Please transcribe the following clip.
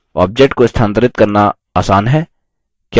objects को स्थानांतरित करना आसान है क्या ऐसा नहीं है